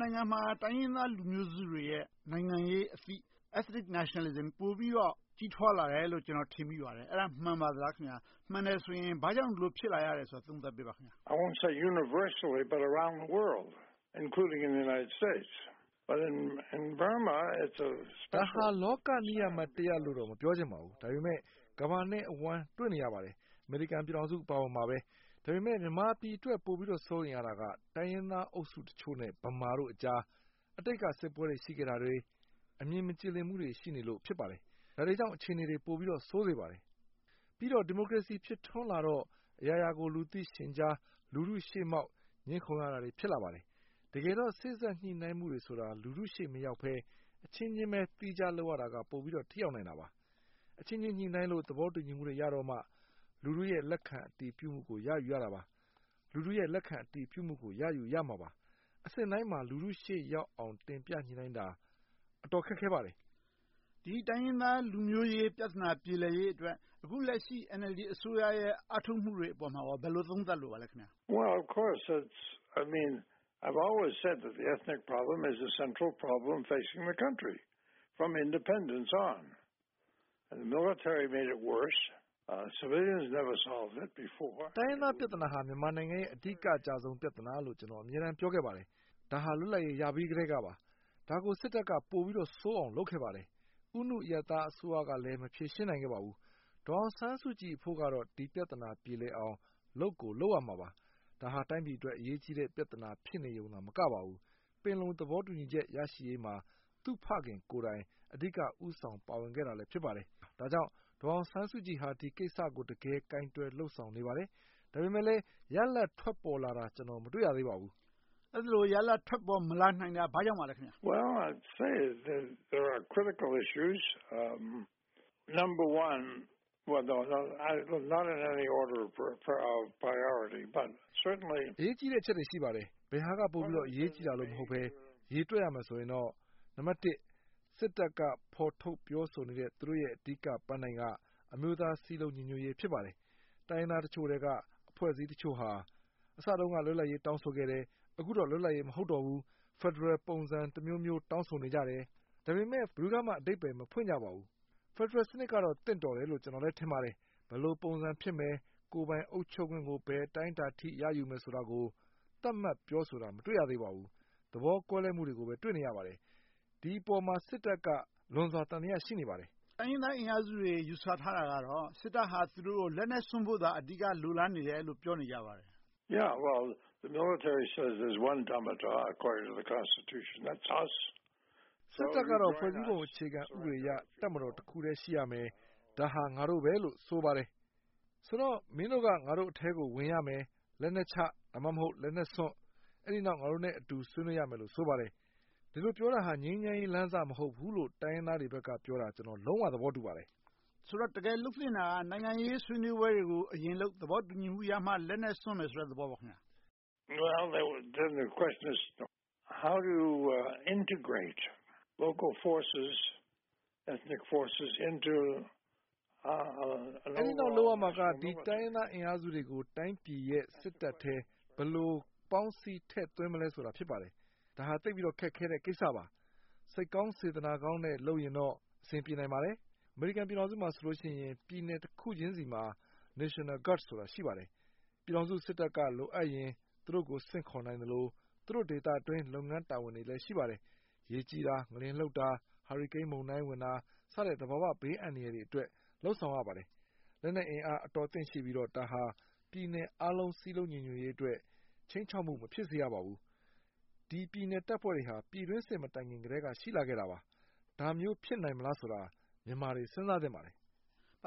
နိုင်ငံမှာ တိုင်းရင်းသားလူမျိုးစုတွေရဲ့ နိုင်ငံရေးအသိ Ethnic Nationalism ပိုပြီးတော့ ကြီးထွားလာတယ်လို့ ကျနော် ထင်မြင်မိပါတယ်။ အဲဒါ မှန်ပါလား။ မှန်တယ်ဆိုရင် ဘာကြောင့် ဒီလိုဖြစ်လာရတယ်ဆိုတာကို သုံးသပ်ပြပါ။ ဒါဟာ လောကနိယာမတရပ်လို့တော့ မပြောချင်ပါဘူး။ ဒါပေမဲ့ ကမ္ဘာနဲ့အဝှမ်း တွေ့နေရပါတယ်။ အမေရိကန်ပြည်ထောင်စု အပါအဝင်ပါပဲ။ ဒါပေမဲ့ မြန်မာပြည်အတွက် ပိုပြီးတော့ စိုးရိမ်ရတာက တိုင်းရင်းသားအုပ်စုတချို့နဲ့ ဗမာတွေကြား အတိတ်က စစ်ပွဲတွေ ရှိခဲ့တာတွေ၊ အမြင်မကြည်လင်မှုတွေ ရှိနေလို့ ဖြစ်ပါတယ်။ ဒါတွေကြောင့် အခြေအနေတွေ ပိုပြီးတော့ဆိုးနေပါတယ်။ ပြီးတော့ ဒီမိုကရေစီ ဖြစ်ထွန်းလာတော့ အရာရာကို လူသိရှင်ကြား လူထုရှေ့မောက် ငြင်းခုန်ရတာတွေ ဖြစ်လာခဲ့ပါတယ်။ တကယ်တော့ စေ့စပ်ညှိနှိုင်းမှုတွေဆိုတာ လူထုရှေ့မရောက်ဘဲ၊ အချင်းချင်းပဲ သီးခြားလုပ်ရတာက ပိုပြီးတော့ ထိရောက်နိုင်တာပါ။ အချင်းချင်းညှိနှိုင်းလို့ သဘောတူညီမှုတွေရတော့မှ လူထုရဲ့ လက်ခံအတည်ပြုမှုကို ရယူရတာပါ။ လူထုရဲ့ လက်ခံအတည်ပြုမှုကို ရယူရမှာပါ။ အဆင့်တိုင်းမှာ လူထုရှေ့ရောက်အောင် တင်ပြညှိနှိုင်းတာ အတော်ခက်ခဲပါတယ်။ ဒီတိုင်းရင်းသားလူမျိုးရေး ပြဿနာ ပြေလည်ရေးအတွက် အခုလက်ရှိ NLD အစိုးရရဲ့ အားထုတ်မှုတွေအပေါ် ဘယ်လိုသုံးသပ်လိုပါလဲ။ တိုင်းရင်းသားပြဿနာဟာ မြန်မာနိုင်ငံရဲ့ အဓိကအကျဆုံးပြဿနာလို့ ကျနော် အမြဲတမ်း ပြောခဲ့ပါတယ်။ ဒါဟာ လွတ်လပ်ရေး ရခဲ့ကတည်းပါ။ ဒါကို စစ်တပ်က ပိုပြီးဆိုးအောင် လုပ်ခဲ့ပါတယ်။ ဦးနုအရပ်သားအစိုးရကလည်း မဖြေရှင်းနိုင်ခဲ့ပါဘူး။ ဒေါ်အောင်ဆန်းစုကြည်အဖို့ကတော့ ဒီပြဿနာ ပြေလည်အောင် လုပ်ကိုလုပ်ရမှာပါ။ ဒါဟာ တိုင်းပြည်အတွက် အရေးကြီးတဲ့ပြဿနာ ဖြစ်နေရုံတင်မကပါဘူး၊ ပင်လုံသဘောတူညီချက် ရရှိရေးမှာ သူ့ဖခင်ကိုယ်တိုင် အဓိကဦးဆောင်ပါဝင်ခဲ့တာလည်း ဖြစ်ပါတယ်။ ဒါကြောင့် ဒေါ်အောင်ဆန်းစုကြည်ဟာ ဒီကိစ္စကို တကယ်ကိုင်တွယ်လုပ်ဆောင်နေပါတယ်။ ဒါပေမဲ့လဲ ရလဒ်ထွက်ပေါ်လာတာကို မတွေ့ရသေးပါဘူး။ အဲဒီလို ရလဒ် ထွက်ပေါ်မလာနိုင်တာ ဘာကြောင့်ပါလဲ။ အရေးကြီးတဲ့အချက်တွေ ရှိပါတယ်။ ဘယ်ဟာက ပိုပြီးတော့ အရေးကြီးတာ မဟုတ်ဘဲ၊ ရေတွက်ရမယ်ဆိုရင်တော့ စစ်တပ်က ဖော်ထုတ်ပြောဆိုနေတဲ့ သူတို့ရဲ့ အဓိကပန်းတိုင်က အမျိုးသားစည်းလုံးညီညွှတ်ရေး ဖြစ်ပါတယ်။ တိုင်းရင်းသားတချို့ထဲက အဖွဲ့အစည်းတချို့ဟာ အစတုန်းက လွတ်လပ်ရေး တောင်းဆိုခဲ့တယ်။ အခုတော့ လွတ်လပ်ရေး မဟုတ်တော့ဘူး၊ ဖယ်ဒရယ်ပုံစံတမျိုးမျိုး တောင်းဆိုနေကြတယ်။ ဒါပေမဲ့ ဘယ်သူကမှ အဓိပ္ပါယ်မဖွင့်ကြပါဘူး။ ဖယ်ဒရယ်စနစ်ကတော့ သင့်တော်တယ်လို့ ကျနော် ထင်ပါတယ်။ ဘယ်လိုပုံစံဖြစ်မယ်၊ ကိုယ်ပိုင်အုပ်ချုပ်ခွင့်ကို ဘယ်အတိုင်းအတာအထိ ရယူမယ်ဆိုတာကို သတ်မှတ်ပြောဆိုတာကို မတွေ့ရသေးပါဘူး။ သဘောကွဲလွဲမှုတွေကိုပဲ တွေ့နေရပါတယ်။ ဒီအပေါ်မှာ စစ်တပ်က လွန်စွာသံသယ ရှိနေပါတယ်။ တိုင်းရင်းသားအင်အားစုတွေ ယူဆထားတာကတော့ စစ်တပ်ဟာ သူတို့ကို လက်နက်စွန့်ဖို့သာ အဓိက လိုလားနေတယ်လို့ ပြောနေကြပါတယ်။ စစ်တပ်ကတော့ ဖွဲ့စည်းပုံ အခြေခံဥပဒေအရ တပ်မတော်တခုတည်း ရှိရမယ်။ ဒါဟာ ငါတို့ပဲလို့ ဆိုပါတယ်။ ဆိုတော့ မင်းတို့က ငါတို့အထဲကို ဝင်ရမယ်။ လက်နက်ချ၊ ဒါမှမဟုတ် လက်နက်စွန့်၊ ပြီးနောက် ငါတို့နဲ့အတူ ဆွေးနွေးရမယ်လို့ ဆိုပါတယ်။ ဒီလိုပြောနေတာ ငြိမ်းချမ်းရေးလမ်းစ မဟုတ်ဘူးလို့ တိုင်းရင်းသားတွေဘက်က ပြောနေတာ ကျနော် လုံးဝသဘောတူပါတယ်။ ဆိုတော့ တကယ်လုပ်သင့်တာက နိုင်ငံရေးဆွေးနွေးပွဲတွေကို အရင်လုပ်။ သဘောတူညီမှုရမှ လက်နက်စွန့်ဆိုမယ့်သဘောပေါ့။ အဲဒီနောက် လုပ်ရမှာက ဒီတိုင်းရင်းသားအင်အားစုတွေကို တိုင်းပြည်ရဲ့ စစ်တပ်ထဲ ဘယ်လိုပေါင်းစည်းထည့်သွင်းမလဲဆိုတာ ဖြစ်ပါတယ်။ ဒါဟာ ခက်ခဲတဲ့ကိစ္စပါ။ စိတ်ကောင်းစေတနာကောင်းနဲ့ လုပ်ရင်တော့ အဆင်ပြေနိုင်ပါတယ်။ အမေရိကန်ပြည်ထောင်စုမှာဆိုရင် ပြည်နယ်တခုချင်းဆီမှာ National Guards ဆိုတာ ရှိပါတယ်။ ပြည်ထောင်စုစစ်တပ်က လိုအပ်ရင် သူတို့ကို ဆင့်ခေါ်နိုင်သလို၊ သူတို့ဒေသအတွင်း လုပ်ငန်းတာဝန်တွေလည်း ရှိပါတယ်။ ရေကြီးတာ၊ ငလျင်လှုပ်တာ၊ ဟာရီကိန်းမုန်တိုင်းဝင်တာ စတဲ့ သဘာဝဘေးအန္တရာယ်တွေအတွက် လုပ်ဆောင်ရပါတယ်။ လက်နက်အင်အား အတော်အသင့်ရှိပြီးတော့ ဒါဟာ ပြည်နယ်အားလုံးစည်းလုံးညီညွှတ်ရေးအတွက် ခြိမ်းခြောက်မှု မရှိစေရပါဘူး။ ဒီပြည်နယ်တပ်ဖွဲ့တွေဟာ ပြည်တွင်းစစ်မတိုင်ခင်ကတည်းက ရှိလာခဲ့တာပါ။ ဒါမျိုး ဖြစ်နိုင်ပါ့မလားဆိုတာ မြန်မာတွေ စဉ်းစားသင့်ပါတယ်။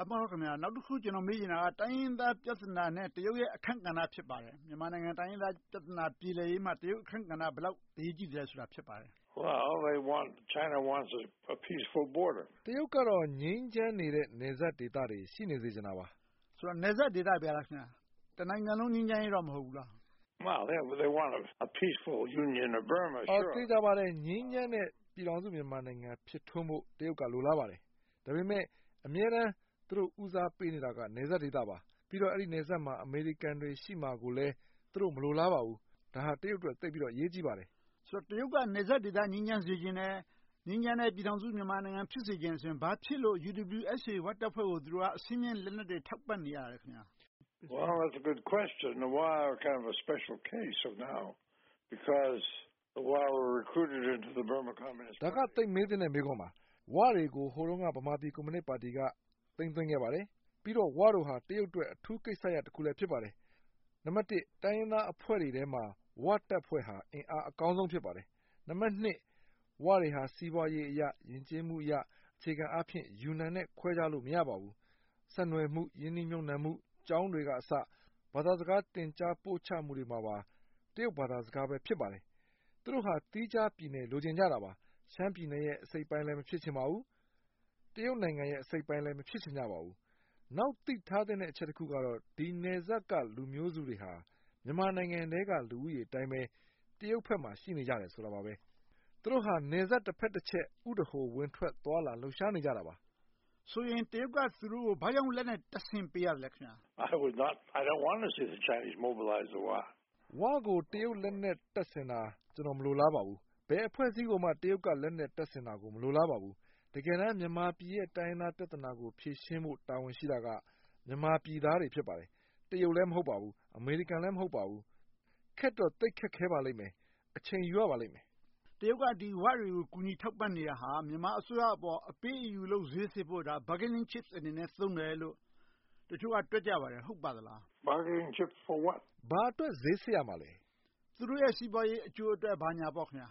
နောက်တခု ကျနော်မေးချင်တာက တိုင်းရင်းသားပြဿနာနဲ့ တရုတ်ရဲ့ အခန်းကဏ္ဍ ဖြစ်ပါတယ်။ မြန်မာနိုင်ငံ တိုင်းရင်းသားပြဿနာ ပြေလည်ရေးမှာ တရုတ်အခန်းကဏ္ဍ ဘယ်လောက်အရေးကြီးသလဲ ဖြစ်ပါတယ်။ တရုတ်ကတော့ ငြိမ်းချမ်းနေတဲ့ နယ်စပ်ဒေသတွေ ရှိနေစေချင်ပါတယ်။ နယ်စပ်ဒေသတွေပဲလား။ တနိုင်ငံလုံး ငြိမ်းချမ်းရေး မဟုတ်ဘူးလား။ သေချာပါတယ်။ ငြိမ်းချမ်းတဲ့ ပြည်ထောင်စုမြန်မာနိုင်ငံ ဖြစ်ထွန်းဖို့ တရုတ်က လိုလားပါတယ်။ ဒါပေမဲ့ အမြဲတမ်း သူတို့ ဦးစားပေးနေတာက နယ်စပ်ဒေသပါ။ ပြီးတော့ အဲဒီနယ်စပ်မှာ အမေရိကန်တွေ ရှိနေမှာကိုလည်း သူတို့ မလိုလားပါဘူး။ ဒါဟာ တရုတ်အတွက် သိပ်ပြီးတော့ အရေးကြီးပါတယ်။ ဆိုတော့ တရုတ်က နယ်စပ်ဒေသ ငြိမ်းချမ်းစေချင်တယ်။ ငြိမ်းချမ်းတဲ့ ပြည်ထောင်စုမြန်မာနိုင်ငံ ဖြစ်စေချင်တယ်ဆိုရင် ဘာဖြစ်လို့ UWSA ဝတပ်ဖွဲ့ကို အဆင့်မြင့်လက်နက်တွေ ထောက်ပံ့နေရတာလဲ။ ဒါက သိပ်မေးသင့်တဲ့ မေးခွန်းပါ။ ဝတွေကို ဟိုတုန်းက ဗမာပြည်ကွန်မြူနစ်ပါတီက သိမ်းသွင်းခဲ့ပါတယ်။ ပြီးတော့ ဝတို့ဟာ တရုတ်အတွက် အထူးကိစ္စရပ်တရပ်လည်း ဖြစ်ပါတယ်။ နံပတ်တစ် တိုင်းရင်းသားအဖွဲ့တွေထဲမှာ ဝတပ်ဖွဲ့ဟာ အင်အားအကောင်းဆုံး ဖြစ်ပါတယ်။ နံပတ်နှစ် ဝတွေဟာ စီးပွားရေး၊ ယဉ်ကျေးမှု၊ အခြေခံအားဖြင့် ယူနန်နဲ့ ခွဲခြားလို့ မရပါဘူး။ ဆက်နွှယ်မှု၊ ရင်းနှီးမြုပ်နံှမှု၊ ကျောင်းတွေကအစ ဘာသာစကား သင်ကြားပို့ချမှုတွေမှာ တရုတ်ဘာသာစကားကပဲ ဖြစ်ပါတယ်။ သူတို့ဟာ သီးခြားပြည်နယ်လိုချင်ကြတာပါ။ ရှမ်းပြည်နယ်ရဲ့ အစိတ်အပိုင်းလည်း မဖြစ်ချင်ကြပါဘူး။ တရုတ်နိုင်ငံရဲ့ အစိတ်အပိုင်းလည်း မဖြစ်ချင်ကြပါဘူး။ နောက်သိထားသင့်တဲ့ အချက်တချက်ကတော့ ဒီနယ်စပ်က လူမျိုးစုတွေဟာ မြန်မာနိုင်ငံထဲက လူဦးရေအတိုင်းပဲ တရုတ်ဘက်မှာ ရှိနေကြပါတယ်။ သူတို့ဟာ နယ်စပ်တဘက်တချက် ဥဒဟို ဝင်ထွက်သွားလာလှုပ်ရှားနေကြတာပါ။ ဆိုရင် တရုတ်က သူတို့ကို ဘာကြောင့် လက်နက်တပ်ဆင်ပေးရသလဲ။ ဝကို တရုတ်လက်နက်တပ်ဆင်တာ ကျနော် မလိုလားပါဘူး။ ဘယ်အဖွဲ့အစည်းကိုမှ တရုတ်က လက်နက်တပ်ဆင်တာကို မလိုလားပါဘူး။ တကယ်တမ်း မြန်မာနိုင်ငံရဲ့ တိုင်းရင်းသားပြဿနာကို ဖြေရှင်းဖို့ တာဝန်ရှိတာက မြန်မာပြည်သားတွေ ဖြစ်ပါတယ်။ တရုတ်လည်း မဟုတ်ပါဘူး။ အမေရိကန်လည်း မဟုတ်ပါဘူး။ ခက်တော့ သိပ်ခက်ခဲပါလိမ့်မယ်။ အချိန်ယူရပါလိမ့်မယ်။ တရုတ်က ဒီ ဝတွေကို ကူညီထောက်ပံ့နေတာဟာ မြန်မာအစိုးရအပေါ် အပေးအယူလုပ်၊ ဈေးဆစ်ဖို့ Bargining Chip အနေနဲ့ သုံးတယ်လို့ တချို့က တွက်ကြပါတယ်။ ဟုတ်ပါသလား။ ဘာအတွက် ဈေးဆစ်ရမှာလဲ။ သူတို့ရဲ့ အကျိုးစီးပွား ဘာညာပေါ့။ ဒီ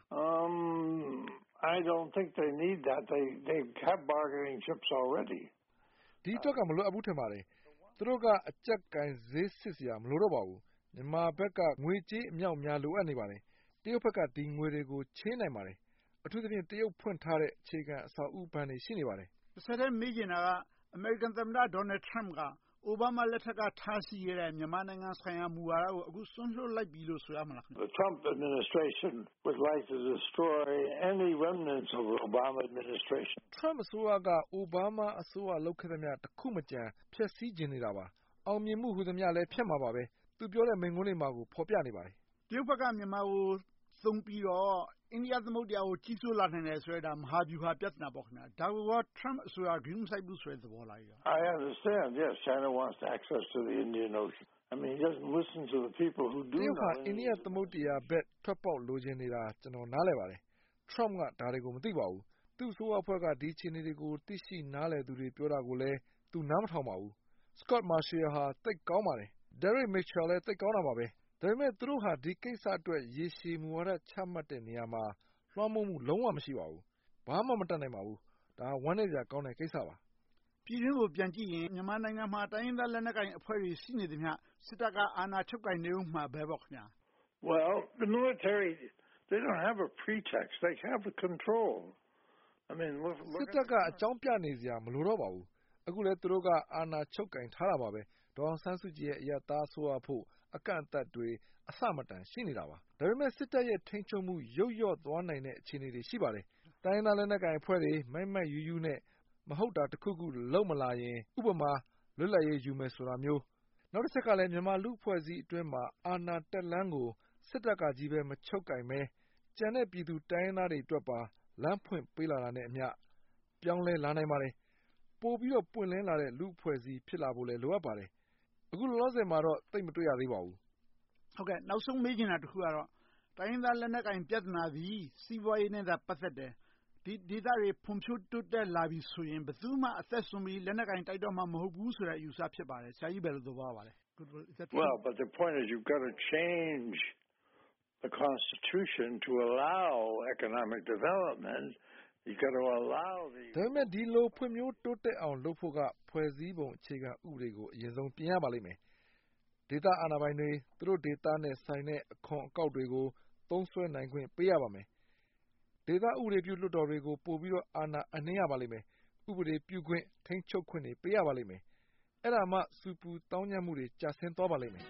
အတွက်က မလိုအပ်ဘူး ထင်ပါတယ်။ သူတို့က အကျပ်ကိုင်ဈေးဆစ်စရာ မလိုတော့ပါဘူး။ မြန်မာဘက်က ငွေကြေးအမြောက်အမြား လိုအပ်နေပါတယ်။ တရုတ်က ဒီငွေတွေကို ချေးနိုင်ပါတယ်။ အထူးသဖြင့် တရုတ်ဖွင့်ထားတဲ့ အခြေခံအဆောက်အဦးဘဏ်တွေ ရှိနေပါတယ်။ တဆက်တည်း မေးချင်တာက အမေရိကန်သမ္မတ Donald Trump က Obama လက်ထက်က ထားရှိခဲ့တဲ့ မြန်မာနိုင်ငံဆိုင်ရာ မူဝါဒကို အခု စွန့်လွှတ်လိုက်ပြီလို့ ဆိုရမလား။ Trump အစိုးရက Obama အစိုးရ လုပ်ခဲ့သမျှ တခုမကျန် ဖျက်ဆီးချင်နေတာပါ။ အောင်မြင်မှု မှန်သမျှလည်း ဖျက်မှာပါ။ သူပြောတဲ့မိန့်ခွန်းတွေမှလည်း တွေ့ရပါတယ်။ တရုတ်က မြန်မာနိုင်ငံကို သုံးပြီးတော့ အိန္ဒိသမုဒ္ဒရာကို ကြီးဆိုးလာနိုင်တယ်ဆိုတဲ့ မဟာဗျူဟာ ပြဿနာပေါ့။ ဒါကို Trump အစိုးရက ဂရုမစိုက်ဘူးဆိုတဲ့ သဘောလား။ တရုတ်က အိန္ဒိယသမုဒ္ဒရာဘက် ထွက်ပေါက်လိုချင်နေတာ ကျနော် နားလည်ပါတယ်။ Trump က ဒါတွေကို မသိပါဘူး။ သူ့အစိုးရအဖွဲ့က ဒါတွေကို သိနားလည်သူတွေ ပြောနေတာကိုလည်း သူနားမထောင်ပါဘူး။ Scot Marciel က သိပ်ကောင်းပါတယ်။ Derek Mitchellကလည်း သိပ်ကောင်းပါတယ်။ ဒါပေမဲ့ သူတို့ဟာ ဒီကိစ္စအတွက် ရေရှည်မူဝါဒ ချမှတ်တဲ့နေရာမှာ လွှမ်းမိုးမှု လုံးဝမရှိပါဘူး။ ဘာမှမတတ်နိုင်ပါဘူး။ ဒါဟာ ဝမ်းနည်းစရာကောင်းတဲ့ ကိစ္စပါ။ ပြည်တွင်းကို ပြန်ကြည့်ရင် မြန်မာနိုင်ငံမှာ တိုင်းရင်းသားလက်နက်ကိုင်အဖွဲ့တွေ ရှိနေသမျှ စစ်တပ်က အာဏာချုပ်ကိုင်နေအုံးမှာပဲပေါ့။ စစ်တပ်က အကြောင်းပြနေစရာ မလိုတော့ပါဘူး။ အခုလည်း သူတို့က အာဏာချုပ်ကိုင်ထားတာပါပဲ။ ဒေါ်အောင်ဆန်းစုကြည်ရဲ့ အရပ်သားအစိုးရအဖို့ အကန့်အသတ်တွေ အဆမတန် ရှိနေတာပါ။ ဒါပေမဲ့ စစ်တပ်ရဲ့ ထိန်းချုပ်မှု ယုတ်လျော့သွားနိုင်တဲ့ အခြေအနေတွေ ရှိပါတယ်။ တိုင်းရင်းသားလက်နက်ကိုင်အဖွဲ့တွေ မိုက်မိုက်ရူးရူးနဲ့ မဟုတ်တာတခုခု လုပ်မလာရင် - ဥပမာ လွတ်လပ်ရေး ယူတာမျိုး။ နောက်တချက်က မြန်မာလူအဖွဲ့အစည်းအတွင်းမှာ အာဏာတက်လမ်းကို စစ်တပ်ကကြီးပဲ မချုပ်ကိုင်ဘဲ ကျန်တဲ့ပြည်သူတိုင်းရင်းသားတွေအတွက်ပါ လမ်းဖွင့်ပေးနေတာနဲ့အမျှ ပြောင်းလဲလာနိုင်ပါတယ်။ ပိုပြီးတော့ ပွင့်လင်းလာတဲ့ လူ့အဖွဲ့အစည်း ဖြစ်လာဖို့လည်း လိုအပ်ပါတယ်။ အခုလောလောဆယ်မှာတော့ သိပ်မတွေ့ရသေးပါဘူး။ နောက်ဆုံးမေးချင်တာတခုကတော့ တိုင်းရင်းသားလက်နက်ကိုင် ပြဿနာသည် စီးပွားရေးနဲ့သာ ပတ်သက်တယ်။ ဒီဒေသတွေ ဖွံ့ဖြိုးတိုးတက်လာပြီဆိုရင် ဘယ်သူမှ လက်နက်စွန့်ပြီးဆိုရင် ဘယ်သူမှ အသက်စွန့်ပြီး လက်နက်ကိုင် တိုက်တော့မှာ မဟုတ်ဘူးဆိုတဲ့ အယူအဆ ဖြစ်ပါတယ်။ ဆရာကြီး ဘယ်လိုသဘောရပါသလဲ။ ဒါပေမဲ့ ဒီလိုဖွံ့ဖြိုးတိုးတက်အောင် လုပ်ဖို့က ဖွဲ့စည်းပုံအခြေခံဥပဒေကို အရင်ဆုံး ပြင်ရပါလိမ့်မယ်။ ဒေသအာဏာပိုင်တွေ သူတို့ဒေသနဲ့ဆိုင်တဲ့ အခွန်အကောက်တွေကို သုံးစွဲနိုင်ခွင့် ပေးရပါမယ်။ ဒေသဥပဒေပြု လွှတ်တော်တွေကို ပိုပြီးတော့ အာဏာအပ်နှင်းရပါလိမ့်မယ်။ ဥပဒေပြုခွင့်၊ ထိန်းချုပ်ခွင့်တွေ ပေးရပါမယ်။ အဲဒါမှ ဆူပူသောင်းကျန်းမှုတွေ ကျဆင်းသွားပါလိမ့်မယ်။